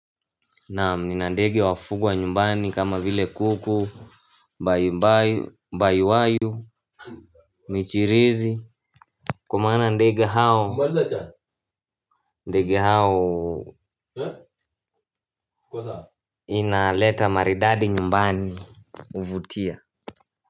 Naam nina ndege wafugwa wa nyumbani kama vile kuku, mbayumabyu, mbayuwayu, michirizi kwa maana ndege hao inaleta maridadi nyumbani huvutia.